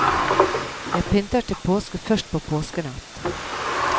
Jeg pynter til påske først på påskenatt.